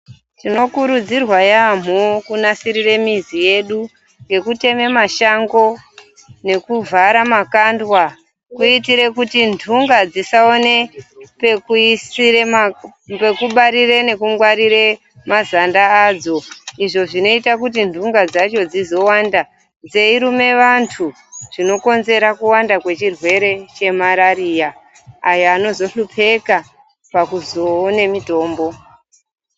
Tinokurudzirwa yaamho kunasirire mizi yedu ngekutema mashango ,nekuvhara makandwa kuitire kuti nhunga dzisaone pekuisire ,pekubarire, nekungwarire mazanda adzo izvo zvinoite kuti nhunga dzacho dzizowande dziyiruma vanhu zvinokonzera kuwanda kwechirwere cheMarariya ayo anozohlupeka pakuzoone mutombo.